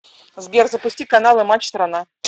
сбер запусти каналы матч страна